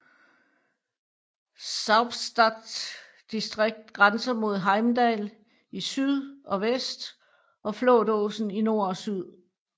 Saupstad distrikt grænser mod Heimdal i syd og vest og Flatåsen i nord og øst